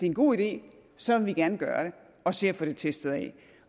en god idé så vil vi gerne gøre det og se at få det testet af